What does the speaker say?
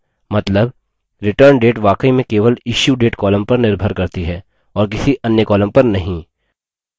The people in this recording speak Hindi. मतलब returndate वाकई में केवल issuedate column पर निर्भर करती है और किसी अन्य column पर नहीं